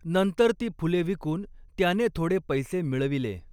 नंतर ती फुले विकून त्याने थोडे पैसे मिळविले.